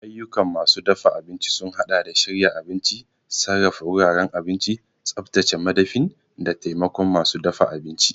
Ayyukan masu dafa abinci sun haɗa da shirya abinci, sarrafa wuraren abinci, tsaftace madafin, da taimakon masu dafa abinci.